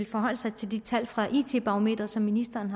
forholde sig til de tal fra it barometeret som ministeren